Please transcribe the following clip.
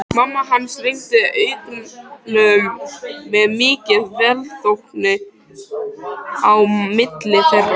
Mamma hans renndi augunum með mikilli velþóknun á milli þeirra.